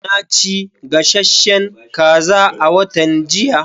Na ci gasasshen kaza a watan jiya.